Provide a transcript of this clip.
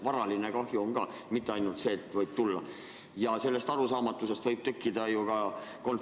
Varaline kahju on ka, mitte ainult see, et võib tulla.